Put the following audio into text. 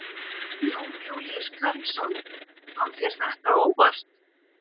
Jón Júlíus Karlsson: Kom þér þetta á óvart?